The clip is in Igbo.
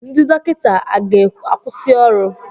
Ndị dọkịta a ga-akwusi ọrụ?